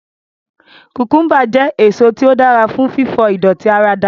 Kùkùḿbà jẹ́ èso tí ó dára fún fífọ ìdọ̀tí ara dànù